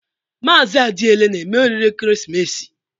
Mazị Adiele na-eme oriri ekeresimesi?